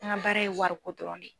An ka baara ye wariko dɔrɔn de ye.